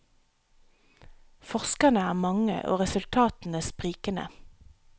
Forskerne er mange og resultatene sprikende.